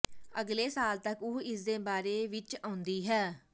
ਅਗਲੇ ਸਾਲ ਤੱਕ ਉਹ ਇਸਦੇ ਬਾਰੇ ਵਿੱਚ ਆਉਂਦੀ ਹੈ